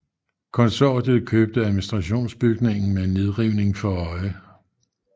Konsortiet købte administrationsbygningen med nedrivning for øje